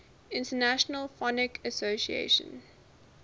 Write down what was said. international phonetic association